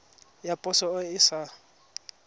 ya poso e e sa